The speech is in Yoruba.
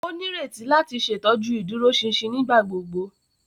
O nireti láti ṣetọju iduroṣinṣin nigbagbogbo.